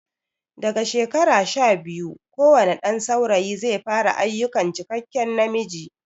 Daga shekara sha biyu kowane ɗan saurayi zai fara ayukan cikakke namiji